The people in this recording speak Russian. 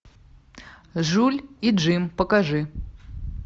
жуль и джим покажи